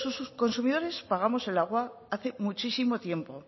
los consumidores pagamos el agua hace muchísimo tiempo